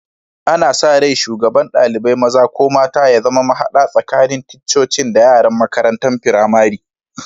Ana sa rai shugaban dalibain maza/mata ya zama mahada tsakanin ticcocin da yaran makarantan firamari.